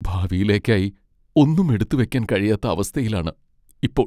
ഭാവിയിലേക്കായി ഒന്നും എടുത്ത് വെക്കാൻ കഴിയാത്ത അവസ്ഥയിലാണ് ഇപ്പോൾ.